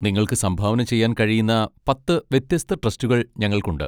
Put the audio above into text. നിങ്ങൾക്ക് സംഭാവന ചെയ്യാൻ കഴിയുന്ന പത്ത് വ്യത്യസ്ത ട്രസ്റ്റുകൾ ഞങ്ങൾക്കുണ്ട്.